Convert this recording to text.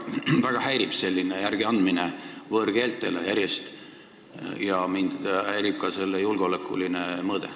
Mind väga häirib selline järjest järeleandmine võõrkeeltele ja mind häirib ka selle julgeolekuline mõõde.